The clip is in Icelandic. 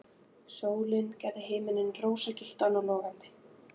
Sólin gerði himininn roðagylltan og logandi.